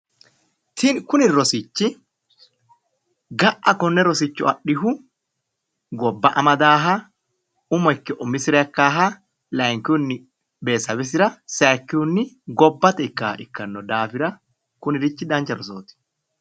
Kuni rosichi ga'a konne rosicho adhihu gobba amadaaha umo ikke umisira ikka laynkihunni betesebesira ikkaaha sayikkihunni gobbate ikkaha ikkanno daafira kunirichi dancha rosooti.